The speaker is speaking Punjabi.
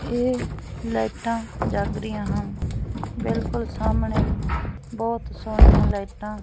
ਇਹ ਲਾਈਟਾਂ ਜਗ ਰਹੀਆਂ ਹਨ ਬਿਲਕੁਲ ਸਾਹਮਣੇ ਬਹੁਤ ਸੋਹਣੀਆਂ ਲਾਈਟਾਂ --